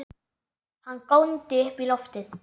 Hann góndi upp í loftið!